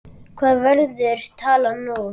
Hver verður talan nú?